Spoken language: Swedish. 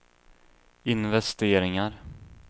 investeringar